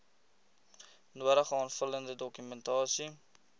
nodige aanvullende dokumentasie